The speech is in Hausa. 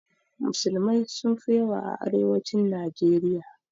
Musulmai sun fi yawa a arewacin najeriya